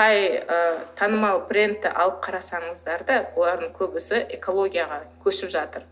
қай ы танымал трендті алып қарасаңыздар да олардың көбісі экологияға көшіп жатыр